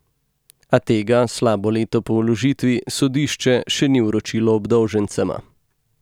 A tega slabo leto po vložitvi sodišče še ni vročilo obdolžencema.